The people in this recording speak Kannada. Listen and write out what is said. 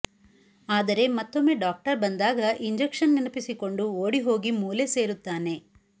ಆದರೆ ಮತ್ತೊಮ್ಮೆ ಡಾಕ್ಟರ್ ಬಂದಾಗ ಇಂಜಕ್ಷನ್ ನೆನಪಿಸಿಕೊಂಡು ಓಡಿಹೋಗಿ ಮೂಲೆ ಸೇರುತ್ತಾನೆ